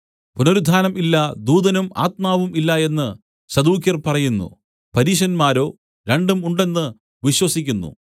പുനരുത്ഥാനം ഇല്ല ദൂതനും ആത്മാവും ഇല്ല എന്ന് സദൂക്യർ പറയുന്നു പരീശന്മാരോ രണ്ടും ഉണ്ടെന്ന് വിശ്വസിക്കുന്നു